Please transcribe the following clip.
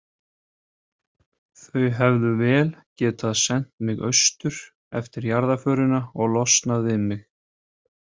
Þau hefðu vel getað sent mig austur eftir jarðarförina og losnað við mig.